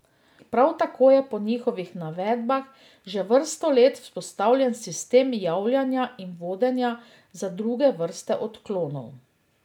Prav tako je po njihovih navedbah že vrsto let vzpostavljen sistem javljanja in vodenja za druge vrste odklonov.